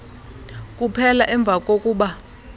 kuphela emva kokuba